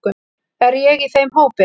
Er ég í þeim hópi.